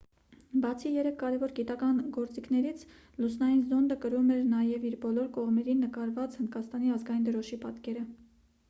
բացի երեք կարևոր գիտական գործիքներից լուսնային զոնդը կրում էր նաև իր բոլոր կողմերին նկարված հնդկաստանի ազգային դրոշի պատկերը